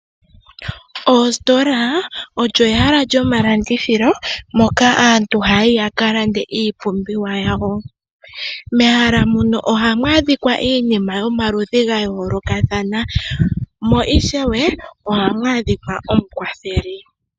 Oositola odho ehala lyomalandithilo moka aantu haya yi ya ka lande iipumbiwa yawo. Mehala muno ohamu adhika iinima yomaludhi ga yoolokathana, mo ishewe ohamu adhika omukwatheli.